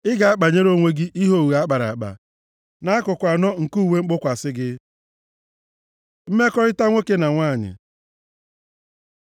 Ị ga-akpanyere onwe gị ihe ogho akpara akpa, nʼakụkụ anọ nke uwe mgbokwasị gị. Mmekọrịta nwoke na nwanyị